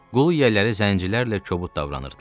Qul yiyələri zəncirlərlə kobud davranırdılar.